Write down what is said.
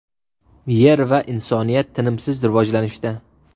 Yer va insoniyat tinimsiz rivojlanishda.